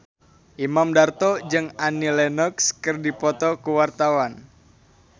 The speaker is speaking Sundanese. Imam Darto jeung Annie Lenox keur dipoto ku wartawan